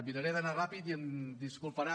miraré d’anar ràpid ja em disculparan